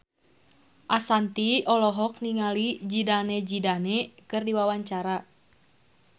Ashanti olohok ningali Zidane Zidane keur diwawancara